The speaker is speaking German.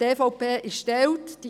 Die EVP ist geteilter Meinung.